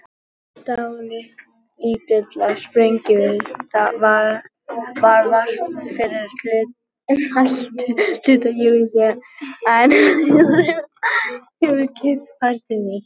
Dálítillar sprengivirkni varð vart fyrri hluta júní en síðan hefur kyrrð færst yfir.